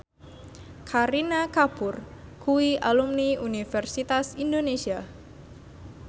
Kareena Kapoor kuwi alumni Universitas Indonesia